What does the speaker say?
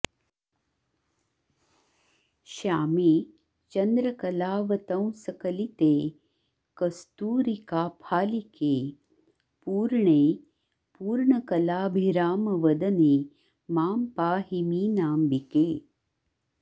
श्यामे चन्द्रकलावतंसकलिते कस्तूरिकाफालिके पूर्णे पूर्णकलाभिरामवदने मां पाहि मीनाम्बिके